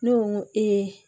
Ne ko